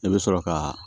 I bɛ sɔrɔ ka